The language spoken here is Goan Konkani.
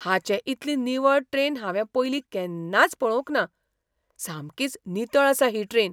हाचे इतली निवळ ट्रेन हांवें पयलीं केन्नाच पळोवंक ना! सामकीच नितळ आसा ही ट्रेन!